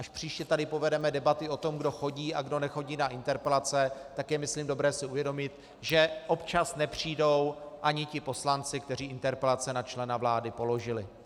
Až příště tady povedeme debaty o tom, kdo chodí a kdo nechodí na interpelace, tak je myslím dobré si uvědomit, že občas nepřijdou ani ti poslanci, kteří interpelace na člena vlády položili.